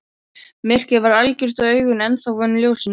Myrkrið var algjört og augun ennþá vön ljósinu.